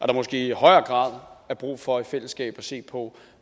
der måske i højere grad er brug for i fællesskab at se på